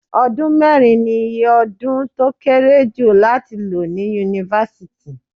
Ọdún mẹ́rin ni iye ọdún tó kéré jù láti lò ní Yunifásítì.